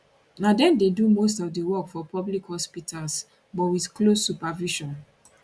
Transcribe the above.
na dem dey do most of di work for public hospitals but wit close supervision